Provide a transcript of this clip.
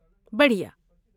بڑھیا